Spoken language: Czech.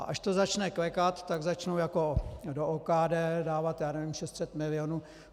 A až to začne klekat, tak začnou jako do OKD dávat, já nevím, 600 milionů.